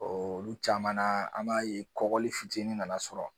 olu caman na an b'a ye kɔgɔli fitinin nana sɔrɔ